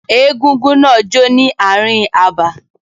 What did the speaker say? Egúngún náà jó ní ààrin abà.